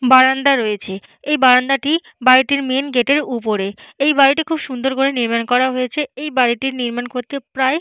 বারান্দা রয়েছে। এই বারান্দাটি বাড়িটির মেন গেট -এর উপরে এই বাড়িটি খুব সুন্দর করে নির্মাণ করা হয়েছে। এই বাড়িটি নির্মাণ করতে প্রায়--